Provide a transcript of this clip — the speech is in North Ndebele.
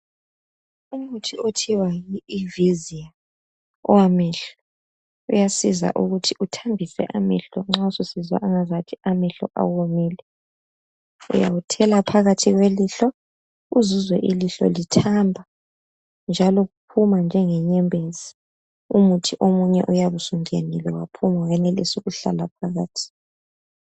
Umuthi okuthiwa yi iviziya owamehlo uyasiza ukuthi uthambise amehlo nxa ewomile. Uyawuthela phakathi kwelihlo uzwe ilihlo lithamba njalo uphuma njengenyembezi. Omunye umuthi uyabe sungenile wenelisa ukuhlala phakathi.